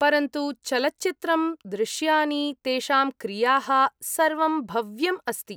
परन्तु चलच्चित्रं, दृश्यानि, तेषां क्रियाः, सर्वं भव्यम् अस्ति।